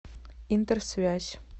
интерсвязь